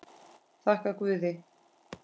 Þakka guði.